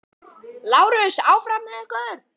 LÁRUS: Áfram með ykkur!